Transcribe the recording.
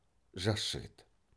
жас жігіт